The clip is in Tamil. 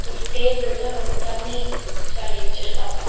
ஒரு டேபிள்ல ஒரு தண்ணிச் ஜாடி வச்சுருக்காங்க.